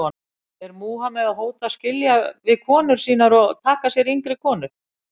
Er Múhameð að hóta að skilja við konur sínar og taka sér yngri konur?